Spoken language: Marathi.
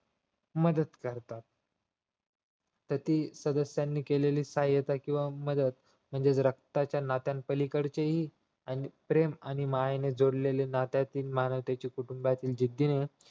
मदत करतात तर ती सदस्यांनी केलेली सहायता किंवा मदत म्हणजेच रक्ताच्या नात्याच्या पलीकडेचेही प्रेम आणि मायेने जोडलेले नात्याचे मानतेवचे कुटुंबातील जिद्देने